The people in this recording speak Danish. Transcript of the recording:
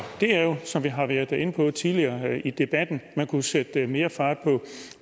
det er jo som vi har været inde på tidligere i debatten at man kunne sætte mere fart på